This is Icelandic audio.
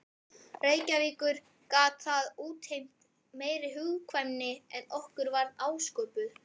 Reykjavíkur gat það útheimt meiri hugkvæmni en okkur var ásköpuð.